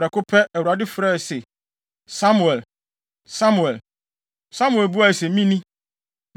Prɛko pɛ, Awurade frɛe se, “Samuel! Samuel!” Samuel buae se, “Mini.”